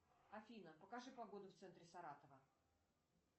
афина покажи погоду в центре саратова